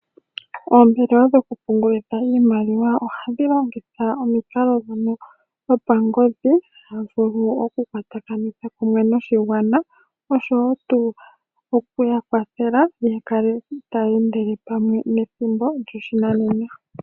Oombelewa dhokupungulitha iimaliwa ohadhi longitha omikalo ndhono dho pangodhi, ha vulu okukwatakanitha kumwe noshigwana, oshowo tuu oku ya kwathela ya kale taya endele pamwe nethimbo lyoshinanena.